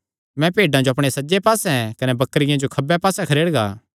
मैं भेड्डां जो अपणे सज्जे पास्से कने बकरियां जो खब्बे पास्से खरेड़गा